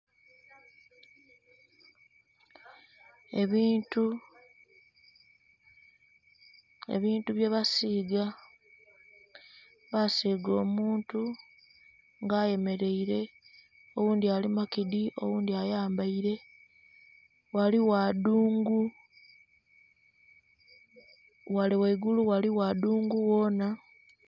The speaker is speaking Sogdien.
Ebintu, ebintu bye basiiga basiiga omuntu nga ayemereire oghundhi ali makidhi oghundhi ayambaire, ghaligho adhungu ghale ghaigulu ghaligho edhungu ghona.